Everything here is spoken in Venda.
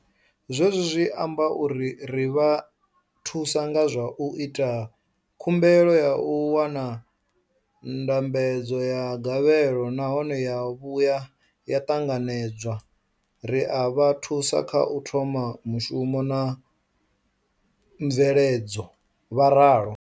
Hezwi zwi amba uri ri vha thusa nga zwa u ita khumbelo ya u wana ndambedzo ya gavhelo nahone ya vhuya ya ṱanganedzwa, ri a vha thusa kha u thoma mushumo na mveledzo, vho ralo.